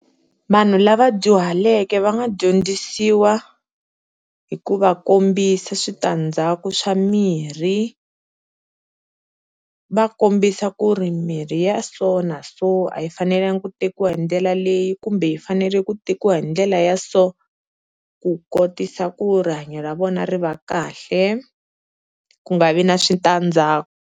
Vanhu lava dyuhaleke va nga dyondzisiwa hi ku va kombisa switandzhaku swa mirhi, va kombisa ku ri mirhi ya so so na so a yi fanelangi ku tekiwa hi ndlela leyi kumbe yi fanele ku tekiwa hi ndlela ya so, ku kotisa ku rihanyo ra vona ri va kahle ku nga vi na switandzhaku.